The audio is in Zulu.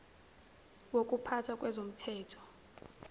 wokupha tha kwezomthetho